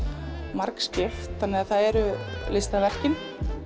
margskipt þannig að það eru listaverkin